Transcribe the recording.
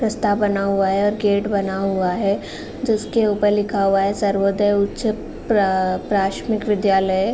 रास्ता बना हुआ है। गेट बना हुआ है। जिसके ऊपर लिखा हुआ सर्वोदय उच्च प्र प्राथमिक विद्यालय।